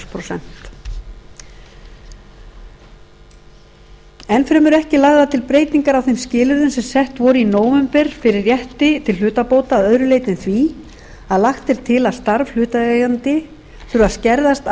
prósent eins fremur eru ekki lagðar til breytingar á skilyrðum sem sett voru í nóvember fyrir rétti til hlutabóta að öðru leyti en því að lagt er til að starf hlutaðeigandi þurfi að skerðast að